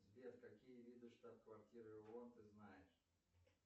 сбер какие виды штаб квартиры оон ты знаешь